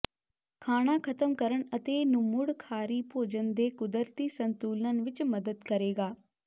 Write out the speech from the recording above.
ਖਾਣਾ ਖਤਮ ਕਰਨ ਅਤੇ ਨੂੰ ਮੁੜ ਖਾਰੀ ਭੋਜਨ ਦੇ ਕੁਦਰਤੀ ਸੰਤੁਲਨ ਵਿੱਚ ਮਦਦ ਕਰੇਗਾ